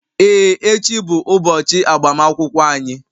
Ee, echi bụ ụbọchị agbamakwụkwọ anyị.